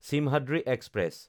Simhadri express